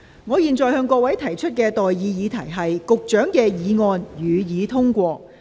我現在向各位提出的待議議題是：教育局局長動議的議案，予以通過。